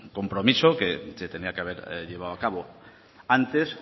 compromiso que se tenía que haber llevado a cabo antes